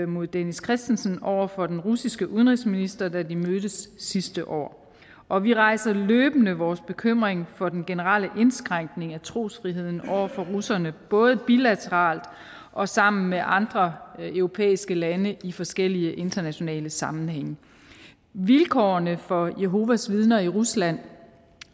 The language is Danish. mod dennis christensen over for den russiske udenrigsminister da de mødtes sidste år og vi rejser løbende vores bekymring for den generelle indskrænkning af trosfriheden over for russerne både bilateralt og sammen med andre europæiske lande i forskellige internationale sammenhænge vilkårene for jehovas vidner i rusland